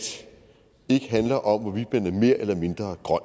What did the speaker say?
ikke handler om hvorvidt man er mere eller mindre grøn